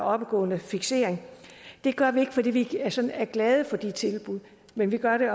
oppegående fiksering det gør vi ikke fordi vi sådan er glade for de tilbud men vi gør det